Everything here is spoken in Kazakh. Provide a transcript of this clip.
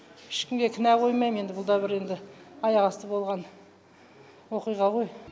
ешкімге кінә қоймаймын енді бұл да бір енді аяқасты болған оқиға ғой